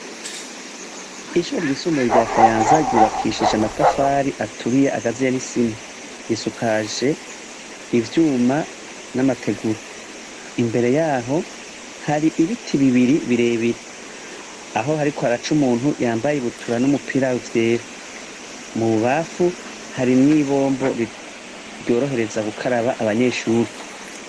Ishure ryisumbuye rya Kayanza ryubakishije amatafari aturiye agaziye n'isima. Risakaje ivyuma n'amategura. Imbere yaho hari ibiti bibiri birebire. Aho hariko haraca umuntu yambaye ibutura n'umpira vyera. Mu bubafu, hari n'ibombo ryorohereza gukaraba abanyeshuri.